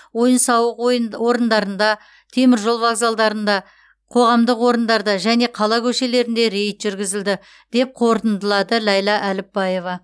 ойын сауық ойын орындарында теміржол вокзалдарында қоғамдық орындарда және қала көшелерінде рейд жүргізілді деп қортындылады ләйлә әліпбаева